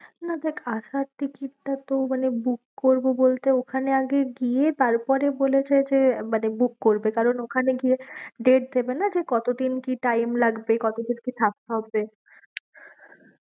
না দেখ আসার ticket টা তো মানে book করবো বলতে ওখানে আগে গিয়ে তারপরে বলেছে যে মানে book করবে কারণ ওখানে গিয়ে date দেবে না যে কত দিন কি time লাগবে? কত দিন কি থাকতে হবে?